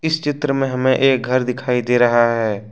इस चित्र में हमें एक घर दिखाई दे रहा है।